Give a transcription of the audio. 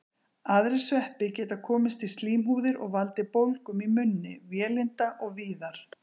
Aðrir sveppir geta komist í slímhúðir og valdið bólgum í munni, vélinda og víðar.